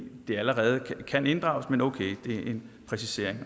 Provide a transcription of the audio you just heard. det allerede kan inddrages men okay det er en præcisering